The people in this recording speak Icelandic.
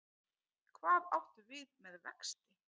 Hvað áttu við með vexti?